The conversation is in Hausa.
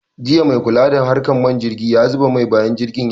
Jiya maikula da harkan man jirgi yazuba mai bayan jirgin sauka